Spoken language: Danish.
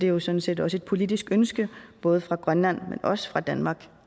jo sådan set også et politisk ønske både fra grønland men også fra danmark